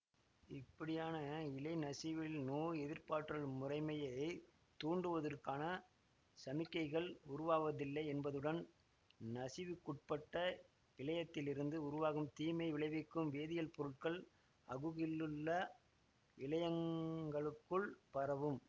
இப்படியான இழைநசிவில் நோய் எதிர்ப்பாற்றல் முறைமையைத் தூண்டுவதற்கான சமிக்ஞைகள் உருவாவதில்லை என்பதுடன் நசிவுக்குட்பட்ட இழையத்திலிருந்து உருவாகும் தீமை விளைவிக்கும் வேதியியல் பொருட்கள் அகுகிலுள்ள இழையங்களுக்குள் பரவும்